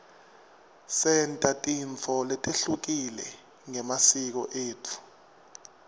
senta tintfo letehlukile ngemasiko etfu